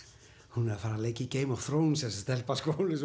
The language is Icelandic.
hún er að fara að leika í Game of Thrones þessi stelpa